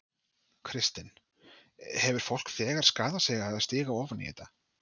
Kristinn: Hefur fólk þegar skaðað sig á því að stíga ofan í þetta?